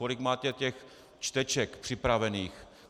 Kolik máte těch čteček připravených?